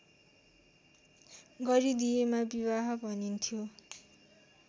गरिदिएमा विवाह भनिन्थ्यो